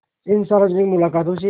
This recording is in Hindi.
इन सार्वजनिक मुलाक़ातों से